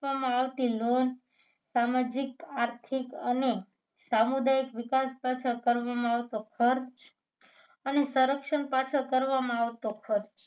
આપવામાં આવતી loan સામાજિક આર્થિક અને સામુદાયિક વિકાસ પાછળ કરવામાં આવતો ખર્ચ અને સંરક્ષણ પાછળ કરવામાં આવતો ખર્ચ